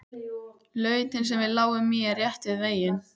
Lautin sem við lágum í er rétt við veginn.